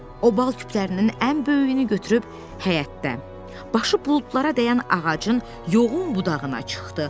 O bal küplərinin ən böyüyünü götürüb həyətdə, başı buludlara dəyən ağacın yoğun budağına çıxdı.